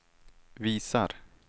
visar